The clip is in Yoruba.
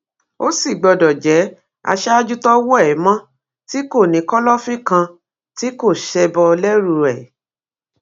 ó sì gbọdọ jẹ aṣáájú tọwọ ẹ mọ tí kò ní kọlọfín kan tí kò ṣebọ lẹrú ẹ